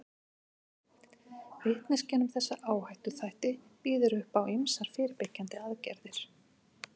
Vitneskjan um þessa áhættuþætti býður upp á ýmsar fyrirbyggjandi aðgerðir.